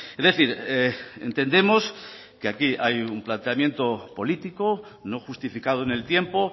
es decir entendemos que aquí hay un planteamiento político no justificado en el tiempo